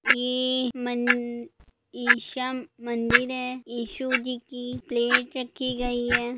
ये मन ईशा मंदिर हैं। इशू जी की-- प्लेट राखि गई है ।